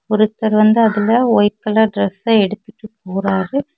ஒருத்தர் வந்து அதுல ஒயிட் கலர் டிரஸ்ஸ எடுத்துட்டு போறாரு.